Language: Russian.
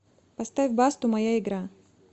поставь басту моя игра